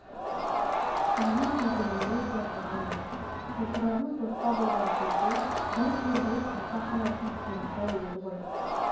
менің кіргенімді де байқаған жоқ топырағың торқа болғыр кейде бір кербез тарта қалатын керімсал еді ғой